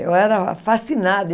Eu era fascinada.